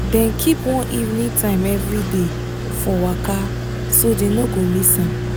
dem keep one evening time every day for waka so dem no go miss am.